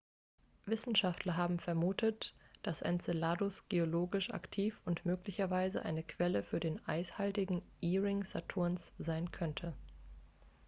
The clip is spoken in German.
wissenschaftler haben vermutet dass enceladus geologisch aktiv und möglicherweise eine quelle für den eishaltigen e-ring saturns sein könnte